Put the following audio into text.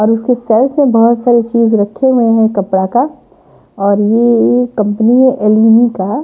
और उसके साईड मे बहोत सारी चीज रखे हुए हैं कपड़ा का और ये एक कंपनी है एल_इ_डी का।